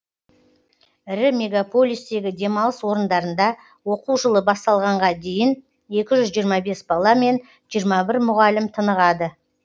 ірі мегаполистегі демалыс орындарында оқу жылы басталғанға дейін екі жүз жиырма бес бала мен жиырма бір мұғалім тынығады